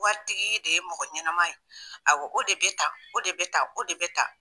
Waritigi de ye mɔgɔ ɲɛnama ye. Awɔ o de be tan, o de be tan ko de be tan.